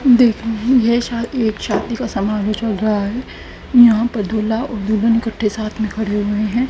देखिए ये शायद एक शादी का सामरोह चल रहा है यहां पर दूल्हा और दुल्हन इकट्ठे साथ में खड़े हुए हैं।